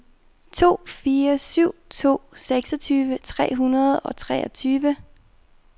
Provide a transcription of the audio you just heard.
to fire syv to seksogtyve tre hundrede og treogtyve